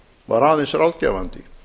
var aðeins ráðgefandi